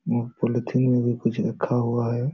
मो पॉलीथिन में भी कुछ रखा हुआ है।